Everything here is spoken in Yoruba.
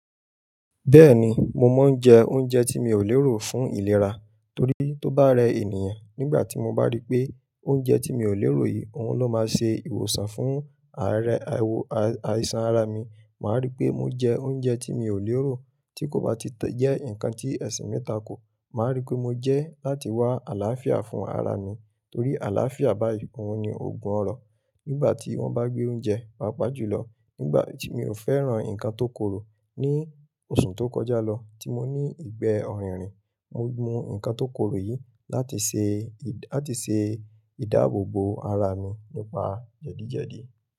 Bẹ́ẹ̀ni, mo máa ń jẹ oúnjẹ tí mi ò lérò fún ìlera torí tó bá rẹ ènìyàn nígbà tí mo bá rí pé oúnjẹ tí mi ò lérò yìí òun ló máa ṣe ìwòsàn fún ààrẹ àìsàn ara mi. Màá rí pé mo jẹ oúnjẹ tí mi ò lérò tí kò bá ti jẹ́ ǹnkan tí ẹ̀sìn mi takò. Màá rí pé mo jẹ láti wá àlàáfíà fún ara mi torí àlàáfíà báyìí òun ni ògùn ọrọ̀. Nígbà tí wọ́n bá gbé oúnjẹ, pàápàá jùlọ nígbà tí mi ò fẹ́ràn ǹkan tó korò ní oṣù tó kọjá lọ tí mo ní ìgbẹ́ ọ̀rìnrìn, mo mú ǹkan tó korò yìí láti ṣe, láti ṣe ìdáàbòbò ara mi nípa jẹ́dìjẹ́dì.